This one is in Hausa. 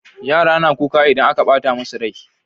Yara na kuka idan aka ɓata musu rai